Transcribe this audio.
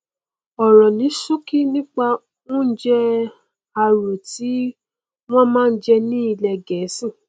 ọrọ ní ṣókí nípa oúnjẹ arò tí wọn máa n jẹ ní ilẹ gẹẹsì